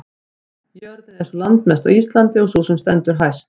jörðin er ein sú landmesta á íslandi og sú sem stendur hæst